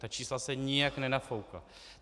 Ta čísla se nijak nenafoukla.